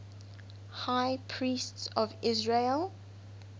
high priests of israel